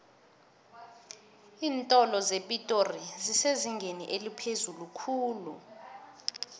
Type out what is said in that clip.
iintolo zepitori zisezingeni eliphezulu khulu